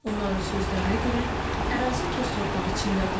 Onların sözlərinə görə ərazi toz torpaq içindədir.